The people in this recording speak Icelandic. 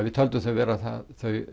við töldum þau vera það